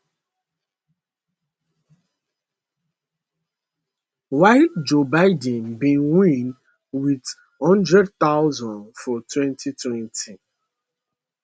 while joe biden bin win wit one hundred thousand for 2020